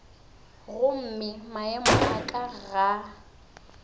gomme maemo a ka ga